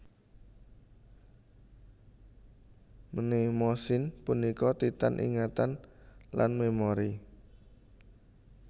Mnemosine punika Titan ingatan lan memori